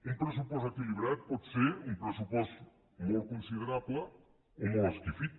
un pressupost equilibrat pot ser un pressupost molt considerable o molt esquifit